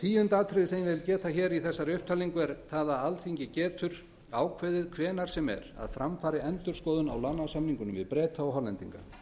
tíu alþingi getur ákveðið hvenær sem er að fram fari endurskoðun á lánasamningunum við breta og hollendinga